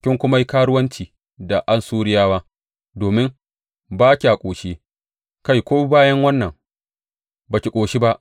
Kin kuma yi karuwanci da Assuriyawa, domin ba kya ƙoshi; kai ko bayan wannan, ba ki ƙoshi ba.